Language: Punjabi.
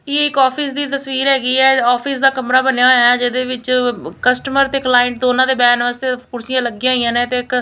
ਇਹ ਇਕ ਆਫਿਸ ਦੀ ਤਸਵੀਰ ਹੈਗੀ ਐ ਆਫਿਸ ਦਾ ਕਮਰਾ ਬਣਿਆ ਹੋਇਆ ਐ ਜਿਹਦੇ ਵਿੱਚ ਕਸਟਮਰ ਤੇ ਕਲਾਇੰਟ ਦੋਨਾਂ ਦੇ ਬਹਿਣ ਵਾਸਤੇ ਕੁਰਸੀਆਂ ਲੱਗੀਆਂ ਹੋਈਆਂ ਨੇ ਤੇ ਇਕ --